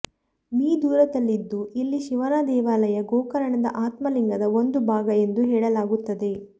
me ದೂರದಲ್ಲಿದ್ದು ಇಲ್ಲಿ ಶಿವನ ದೇವಾಲಯ ಗೋಕರ್ಣದ ಆತ್ಮಲಿಂಗದ ಒಂದು ಭಾಗ ಎಂದು ಹೇಳಲಾಗುತ್ತದೆ